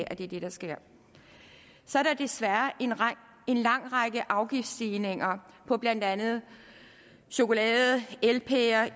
at det er det der sker så er der desværre en lang række afgiftsstigninger på blandt andet chokolade elpærer is